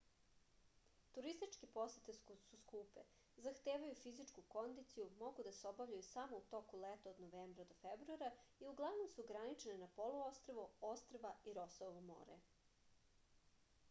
turističke posete su skupe zahtevaju fizičku kondiciju mogu da se obavljaju samo u toku leta od novembra do februara i uglavnom su ograničene na poluostrvo ostrva i rosovo more